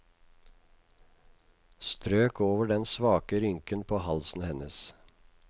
Strøk over den svake rynken på halsen hennes.